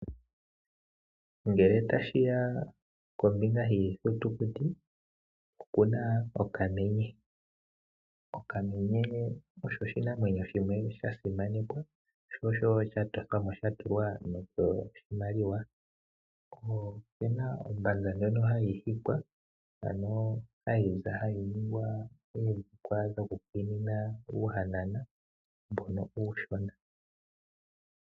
Ngele tashiya kombinga yiithutukuti okuna okamenye, okamenye osho oshinamwenyo shimwe shasimanekwa sho osho wo shatothwamo shatulwa nokoshimaliwa, ko okena ombanza ndjono hayi hikwa ano hayi ningwa oodhikwa dhoku kwiinina uuhanona uushona